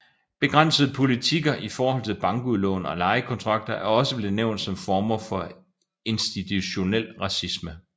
Begrænsende politikker i forhold til bankudlån og lejekontrakter er også blevet nævnt som former for institutionel racisme